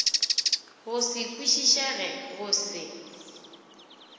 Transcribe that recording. go se kwišišege go se